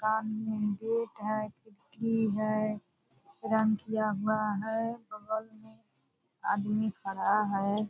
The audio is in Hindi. राम मंदिर है पृथ्वी है प्रण किया हुआ है बगल में आदमी खड़ा है ।